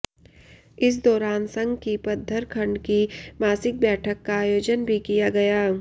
इस दौरान संघ की पद्धर खंड की मासिक बैठक का आयोजन भी किया गया